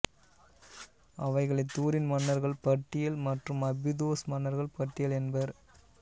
அவைகளை துரின் மன்னர்கள் பட்டியல் மற்றும் அபிதோஸ் மன்னர்கள் பட்டியல் என்பர்